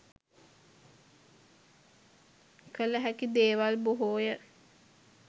කල හැකි දේවල් බොහෝය.